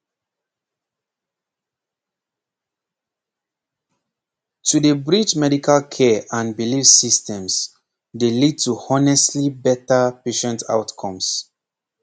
pause pause to dey bridge medical care and belief systems dey lead to honestly better patient outcomes